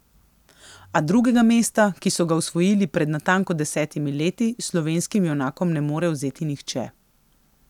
A drugega mesta, ki so ga osvojili pred natanko desetimi leti, slovenskim junakom ne more vzeti nihče.